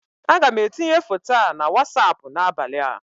Aga m etinye foto a na wasapụ n'abalị a